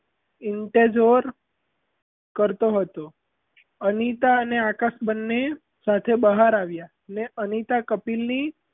એવું તે જોર કરતો હતો અનીતા અને આકાશ બન્ને સાથે બહાર આવ્યાં ને અનિતા કપિલની,